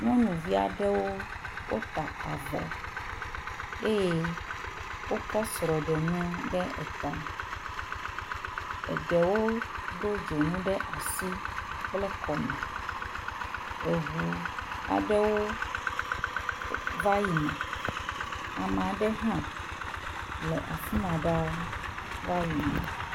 Nyɔnuvi aɖewo wota avɔ eye wokɔ srɔ̃ɖenu ɖe eta. Eɖewo do dzonu ɖe asi kple kɔme. Eŋu aɖewo va yina. Ame aɖe hã le afi ma ɖaa va yina.